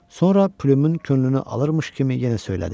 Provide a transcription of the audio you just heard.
Sonra plyumun könlünü alırmış kimi yenə söylədi.